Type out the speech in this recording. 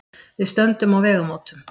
Við stöndum á vegamótum.